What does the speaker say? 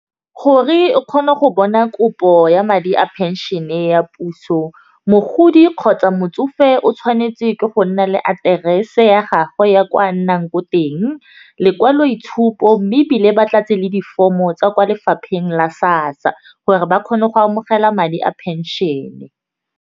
Gore o kgone go bona kopo ya madi a phenšene ya puso, mogodi kgotsa motsofe o tshwanetse ke go nna le aterese ya gagwe ya kwa nnang ko teng, lekwaloitshupo mme ebile ba tlatse le di-form-o tsa kwa lefapheng la SASSA gore ba kgone go amogela madi a phenšene.